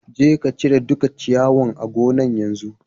Je ka cire dukan ciyawan a gonan'yanzu!